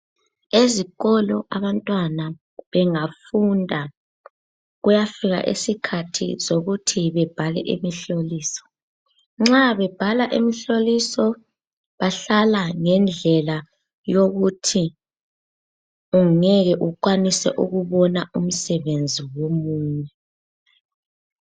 Ezikolo abantwana bengafunda kuyafika isikhathi sokuthi bebhale imihloliso ,nxa bebhala imihloliso bahlala ngendlela yokuthi ungeke ukwanise ukubona umsebenzi womunye.